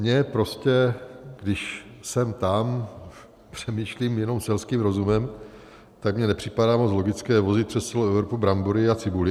Mně prostě když sem tam přemýšlím jenom selským rozumem, tak mně nepřipadá moc logické vozit přes celou Evropu brambory a cibuli.